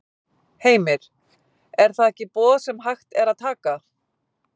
Heimir: Er það ekki boð sem hægt er að taka?